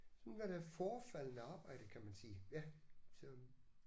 Sådan er det forefaldende arbejde kan man sige ja så